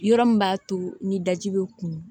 Yɔrɔ min b'a to ni daji bɛ kun